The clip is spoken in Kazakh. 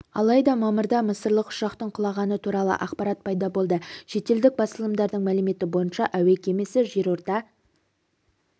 алайда мамырда мысырлық ұшақтың құлағаны туралы ақпарат пайда болды шетелдік басылымдардың мәліметі бойынша әуе кемесі жерорта